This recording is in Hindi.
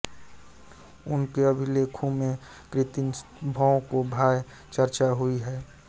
उनके अभिलेखों में कीर्तिस्तंभों की प्राय चर्चा हुई है